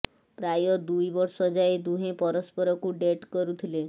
ପ୍ରାୟ ଦୁଇ ବର୍ଷ ଯାଏ ଦୁହେଁ ପରସ୍ପରକୁ ଡେଟ୍ କରୁଥିଲେ